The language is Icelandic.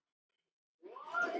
Þarna felurðu þig!